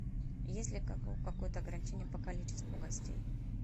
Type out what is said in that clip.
есть ли какое то ограничение по количеству гостей